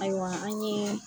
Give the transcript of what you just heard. Ayiwa an' ɲee